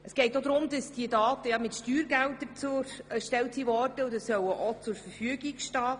Es geht auch darum, dass diese Daten mit Steuergeldern erhoben wurden, und daher sollen sie grundsätzlich auch zur Verfügung stehen.